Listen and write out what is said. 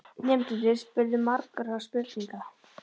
Nemendurnir spurðu margra spurninga.